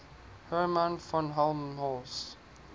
hermann von helmholtz